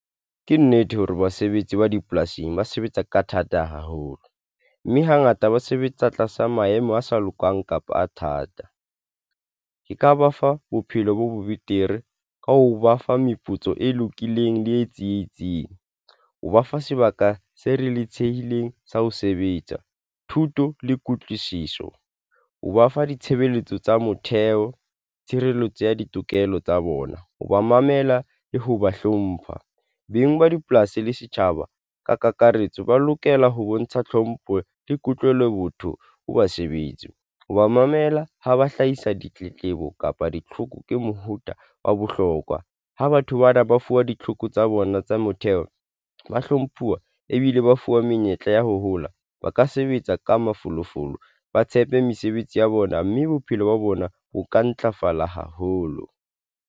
Ke nnete hore basebetsi ba dipolasing ba sebetsa ka thata haholo, mme hangata ba sebetsa tlasa maemo a sa lokang kapa a thata. Ke ka ba fa bophelo bo betere ka ho ba fa meputso e lokileng le e tsietsing, ho ba fa sebaka se reletsehileng sa ho sebetsa. Thuto le kutlwisiso o ba fa ditshebeletso tsa motheo tshireletso ya ditokelo tsa bona. Ho ba mamela le ho ba hlompha beng ba dipolasi le setjhaba ka kakaretso, ba lokela ho bontsha tlhompho le kutlwelo, botho ho basebetsi, ho ba mamela ha ba hlahisa ditletlebo kapa ditlhoko ke mohuta wa bohlokwa ho batho bana ba fuwa ditlhoko tsa bona tsa motheo ba hlomphuwa ebile ba fuwa menyetla ya ho hola ba ka sebetsa ka mafolofolo, ba tshepe mesebetsi ya bona, mme bophelo ba bona ho ka ntlafala haholo.